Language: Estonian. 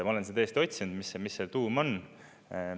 Ma olen seda tõesti otsinud, mis selle tuum on.